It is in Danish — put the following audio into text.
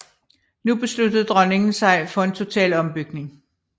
Nu besluttede dronningen sig for en total ombygning